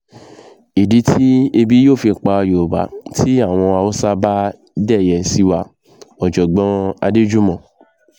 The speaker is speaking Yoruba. ìdí tí ebi yóò fi pa yorùbá tí àwọn haúsá bá dẹ̀yẹ sí wa ọ̀jọ̀gbọ́n adéjúmọ̀